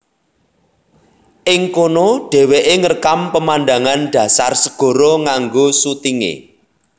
Ing kono dheweke ngrekam pemandangan dhasar segara nganggo sutinge